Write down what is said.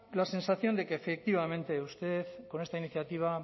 la sensación de que efectivamente usted con esta iniciativa